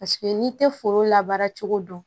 Paseke n'i tɛ foro la baara cogo dɔn